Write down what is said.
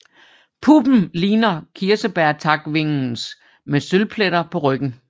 Puppen ligner kirsebærtakvingens med sølvpletter på ryggen